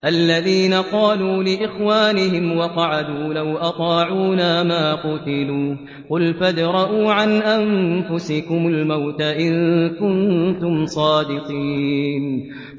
الَّذِينَ قَالُوا لِإِخْوَانِهِمْ وَقَعَدُوا لَوْ أَطَاعُونَا مَا قُتِلُوا ۗ قُلْ فَادْرَءُوا عَنْ أَنفُسِكُمُ الْمَوْتَ إِن كُنتُمْ صَادِقِينَ